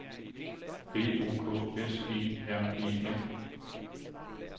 B O K S E R E N